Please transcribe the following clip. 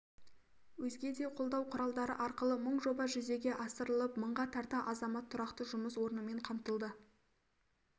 өзге де қолдау құралдары арқылы мың жоба жүзеге асырылып мыңға тарта азамат тұрақты жұмыс орнымен қамтылды